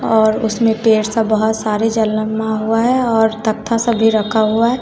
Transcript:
और उसमें पेर सब बहोत सारे जलमा हुआ है और तक्था सब भी रखा हुआ है।